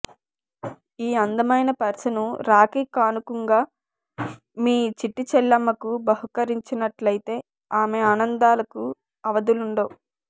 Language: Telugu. ఈ అందమైన పర్సును రాఖీ కానుకుంగా మీ చిట్టి చెల్లమ్మకు బహుకరించినట్లయితే ఆమె ఆనందాలకు అవధులండవు